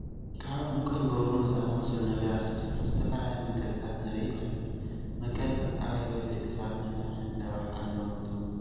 ካብ ዑንቂን ብሩሩርን ዝኣምሰሉ ነገራት ዝተሰርሑ ዝተፈላለዩ መጋየፅታት ንርኢ ኣለና፡፡ መጋየፅታት ኣብ ህይወት ደቂ ሰባ እንታይ ዓይነት ረብሓ ኣለዎም ትብሉ?